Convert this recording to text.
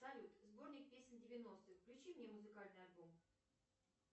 салют сборник песен девяностых включи мне музыкальный альбом